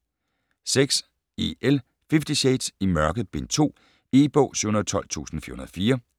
6. James, E. L.: Fifty shades: I mørket: Bind 2 E-bog 712404